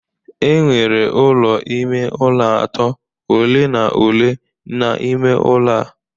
Enwere ụlọ ime ụlọ atọ ole na ole n'ime ụlọ a